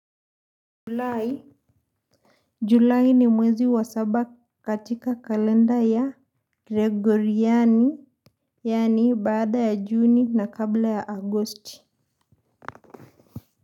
Julai, Julai ni mwezi wa saba katika kalenda ya Gregoriani, yaani baada ya Juni na kabla ya Agosti.